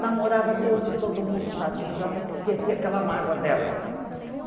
Namorava Deus e todo mundo, tadinha, para para esquecer aquela mágoa dela.